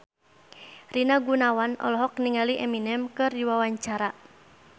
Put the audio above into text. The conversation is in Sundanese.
Rina Gunawan olohok ningali Eminem keur diwawancara